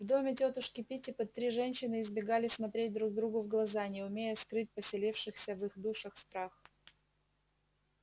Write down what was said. в доме тётушки питтипэт три женщины избегали смотреть друг другу в глаза не умея скрыть поселившийся в их душах страх